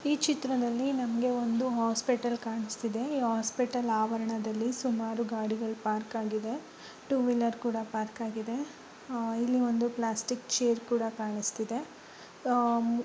ಈ ಚಿತ್ರದಲ್ಲಿ ನಿಮಗೆ ಒಂದು ಹಾಸ್ಪಿಟಲ್ ಕಾಣುಸುತ್ತಿದೆ ಈ ಹಾಸ್ಪಿಟಲ್ ಆವರಣದಲ್ಲಿ ಸುಮಾರು ಗಾಡಿಗಳು ಪಾರ್ಕ್ ಆಗಿದೆ ಟೂವೀಲರ್ ಕೂಡ ಪಾರ್ಕ್ ಆಗಿದೆ ಆ ಇಲ್ಲಿ ಒಂದು ಪ್ಲಾಸ್ಟಿಕ್ ಚೈರ್ ಕೂಡ ಕಾಣುಸುತ್ತಿದೆ ಆಹ್--